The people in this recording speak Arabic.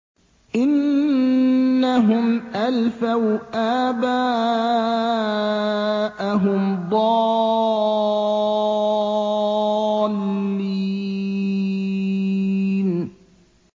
إِنَّهُمْ أَلْفَوْا آبَاءَهُمْ ضَالِّينَ